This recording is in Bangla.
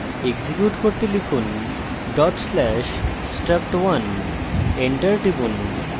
execute করতে লিখুন/struct1 dot slash struct1 enter টিপুন